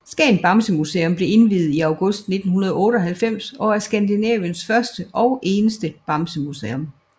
Skagen Bamsemuseum blev indviet i august 1998 og er Skandinaviens første og eneste bamsemuseum